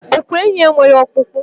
Ogwé ènyị́ enweghị ọkpụkpụ.